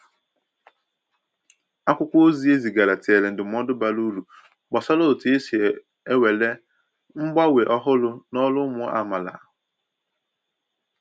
Akwụkwọ ozi e zigaara tinyèrè ndụmọdụ bara uru gbasàra otu esi ewere mgbanwe ọhụrụ n’ọrụ ụmụ amaala.